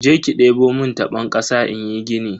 Jeki debo mun tabon kasa inyi gini.